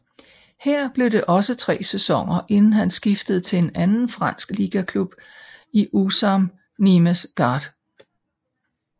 Her blev det også tre sæsoner inden han skiftede til en anden fransk ligaklub i USAM Nîmes Gard